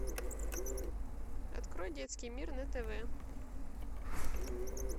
открой детский мир на тв